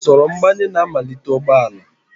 Usoro mgbanye na-amalite ụgbọ ala